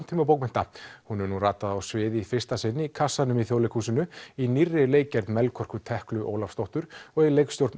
samtímabókmennta hún hefur nú ratað á svið í fyrsta sinn í kassanum í Þjóðleikhúsinu í nýrri leikgerð Melkorku Ólafsdóttur og í leikstjórn